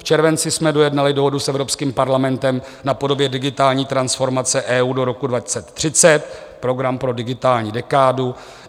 V červenci jsme dojednali dohodu s Evropským parlamentem na podobě digitální transformace EU do roku 2030 - program pro digitální dekádu.